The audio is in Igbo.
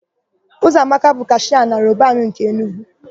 Ụzọamaka bụ kashịa na Robanu nke Enugwu.